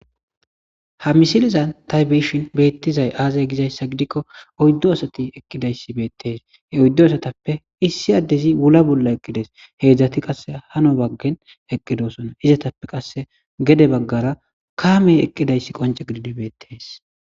Ha misilizan taybeshin beettizay aazay gizayssa gidikko oyddo asati eqqidayssi beettees he oyddo asatappe issi addezi wula bolla eqqides heedzdzati qasse hano baggen eqqidosona izatappe qasse gede baggara kaamey eqqidayssi qonce gididibeettes.